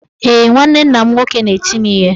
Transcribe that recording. Ee, nwanne nna m nwoke na-eti m ihe.